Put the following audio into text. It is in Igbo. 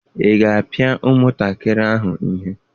Ị ga-apịa nwatakịrị ahụ ihe?